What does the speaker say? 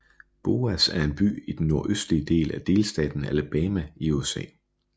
Boaz er en by i den nordøstlige del af delstaten Alabama i USA